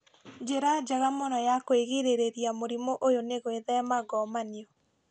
Njĩra njega mũno ya kũgirĩrĩria mũrimũ ũyũ nĩ gwĩthema ngomanio